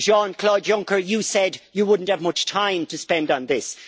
Jean Claude Juncker, you said you would not have much time to spend on this.